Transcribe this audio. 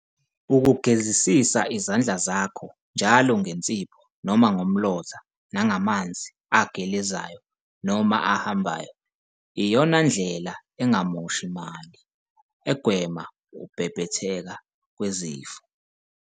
Ukugezisiza izandla zakho njalo ngensipho noma ngomlotha namanzi agelezayo noma ahambayo iyona ndlela engamoshi mali egwema ukubhebhetheka kwezifo.